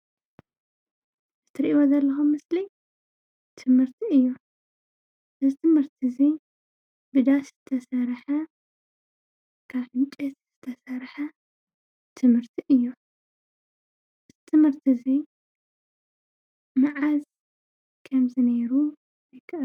እትሪኢዎ ዘለኹም ምስሊ ትምህርቲ እዮ። ዝትምህርቲ እዙይ ብዳስ ዝተሣርሐ ካብ ዕንጨይቲ ዝተሰርሐ ትምህርቲ እዮ። ትምህርቲ እዙይ መዓዝ ኸምዝ ነይሩ ።